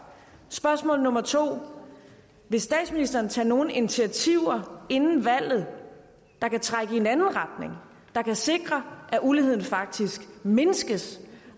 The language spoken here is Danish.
spørgsmål nummer 2 vil statsministeren tage nogle initiativer inden valget der kan trække i en anden retning der kan sikre at uligheden faktisk mindskes